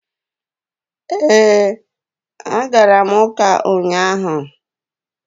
Ee, agara m ụka ụnyahụ.